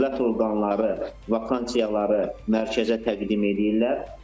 Dövlət orqanları vakansiyaları mərkəzə təqdim eləyirlər.